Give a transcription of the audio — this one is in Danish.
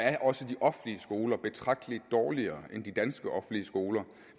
er også de offentlige skoler betragtelig dårligere end de danske offentlige skoler